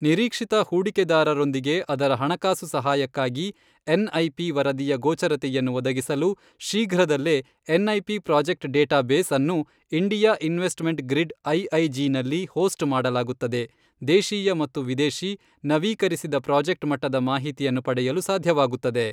ನಿರೀಕ್ಷಿತ ಹೂಡಿಕೆದಾರರೊಂದಿಗೆ ಅದರ ಹಣಕಾಸು ಸಹಾಯಕ್ಕಾಗಿ ಎನ್ಐಪಿ ವರದಿಯ ಗೋಚರತೆಯನ್ನು ಒದಗಿಸಲು ಶೀಘ್ರದಲ್ಲೇ ಎನ್ಐಪಿ ಪ್ರಾಜೆಕ್ಟ್ ಡೇಟಾಬೇಸ್ ಅನ್ನು ಇಂಡಿಯಾ ಇನ್ವೆಸ್ಟ್ಮೆಂಟ್ ಗ್ರಿಡ್ ಐಐಜಿ ನಲ್ಲಿ ಹೋಸ್ಟ್ ಮಾಡಲಾಗುತ್ತದೆ ದೇಶೀಯ ಮತ್ತು ವಿದೇಶಿ, ನವೀಕರಿಸಿದ ಪ್ರಾಜೆಕ್ಟ್ ಮಟ್ಟದ ಮಾಹಿತಿಯನ್ನು ಪಡೆಯಲು ಸಾಧ್ಯವಾಗುತ್ತದೆ.